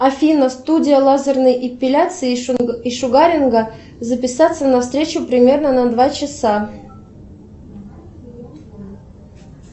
афина студия лазерной эпиляции и шугаринга записаться на встречу примерно на два часа